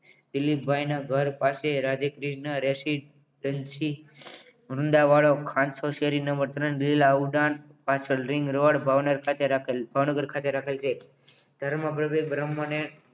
દિલીપભાઈ ના ઘર પાસે રાધે ક્રિષ્ના residence વૃંદાવાળો ખાનચો શેરી નંબર ત્રણ જિલ્લા ઉડાન પાછળ ring road ભાવન ખાતે રાખેલ છે ભાવનગર ખાતે રાખેલ છે ધર્મ પ્રવેગ બ્રહ્મને